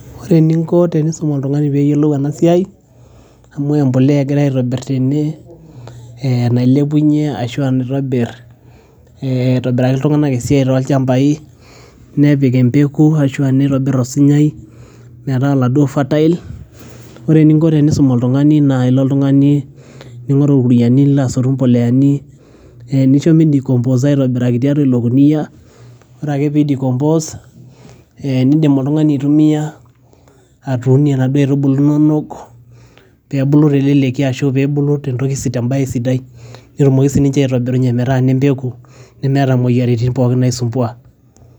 ore eninko tenisum oltung'ani peyiolou ena siai, amu empoleya egirae aitobirr tene eh nailepunyie ashua naitobirr eh aitobiraki iltung'anak esiai tolchambai nepik empeku ashua nitobirr osinyai metaa oladuo fertile ore eninko tenisum oltung'ani naa ilo oltung'ani ning'oru irkuniani nilo asotu impoleyani nincho midikomposa aitobiraki tiatua ilo kuniyia ore ake pee idikompos ee nindim oltung'ani atumiyia atuunie inaduo aitubulu inonok pee ebulu teleleki ashu, ashu pee ebulu tentoki, tembaye sidai netumoki sininche aitobirunye metaa nempeku nemeeta imoyiaritin pookin naisumbua.